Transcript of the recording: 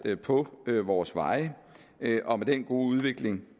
på vores veje og med den gode udvikling